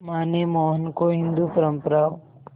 मां ने मोहन को हिंदू परंपराओं